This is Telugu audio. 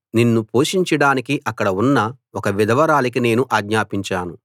నిన్ను పోషించడానికి అక్కడ ఉన్న ఒక విధవరాలికి నేను ఆజ్ఞాపించాను